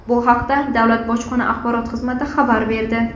Bu haqda Davlat bojxona axborot xizmati xabar berdi .